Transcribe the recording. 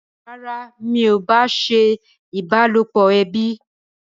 Rárá, èmi ò bá a ṣe ìbálòpọ̀ ẹbí